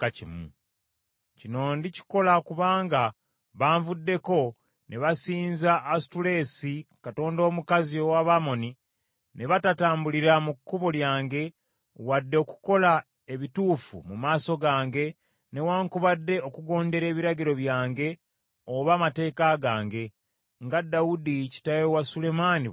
Kino ndikikola kubanga banvuddeko ne basinza Asutoleesi katonda omukazi ow’Abamoni, ne batatambulira mu kkubo lyange, wadde okukola ebituufu mu maaso gange newaakubadde okugondera ebiragiro byange oba amateeka gange, nga Dawudi kitaawe wa Sulemaani bwe yakola.